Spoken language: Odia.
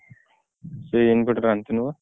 ସେଇ inverter ଆଣିଥିଲି ମୁଁ।